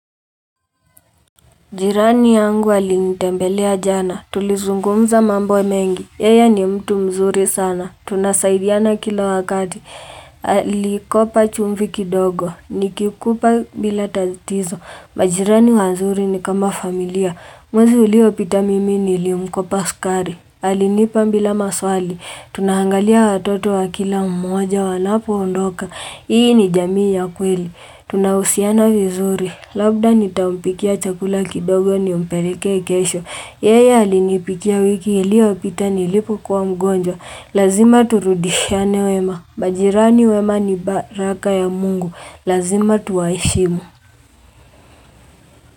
Jirani yangu alinitembelea jana, tulizungumza mamboe mengi, yaya ni mtu mzuri sana, tunasaidiana kila wakati, alikopa chumvi kidogo, nikikupa bila tatizo, majirani wazuri ni kama familia, mwezi uliopita mimini nilimkopa skari, alinipa bila maswali, tunahangalia watoto wa kila umoja wanapo undoka, ii ni jamii ya kweli, tunahusiana vizuri, Labda nitampikia chakula kidogo nimpeleke kesho. Yeye alinipikia wiki ili yopita nilipokuwa mgonjwa. Lazima turudishane wema. Majirani wema ni baraka ya mungu. Lazima tuwaishimu.